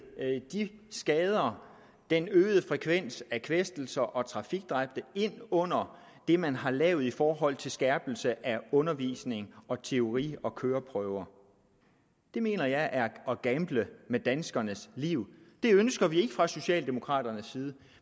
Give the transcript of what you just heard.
de skader den øgede frekvens af kvæstelser og trafikdræbte ind under det man har lavet i forhold til skærpelse af undervisning og teori og køreprøver mener jeg er at gamble med danskernes liv det ønsker vi ikke fra socialdemokraternes side